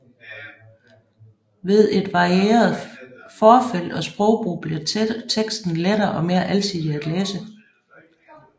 Ved et varieret forfelt og sprogbrug bliver teksten lettere og mere alsidig at læse